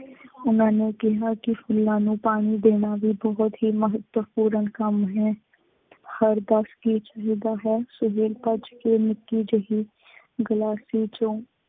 ਉਨ੍ਹਾਂ ਨੇ ਕਿਹਾ ਕਿ ਫੁੱਲਾਂ ਨੂੰ ਪਾਣੀ ਦੇਣਾ ਵੀ ਬਹੁਤ ਹੀ ਮਹੱਤਵਪੂਰਨ ਕੰਮ ਹੈ। ਹਰ ਹੈ। ਸੁਹੇਲ ਭੱਜ ਕੇ ਨਿੱਕੀ ਜਿਹੀ ਗਲਾਸੀ ਚੋਂ